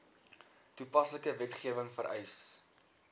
toepaslike wetgewing vereis